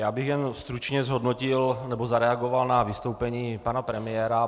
Já bych jen stručně zhodnotil, nebo zareagoval na vystoupení pana premiéra.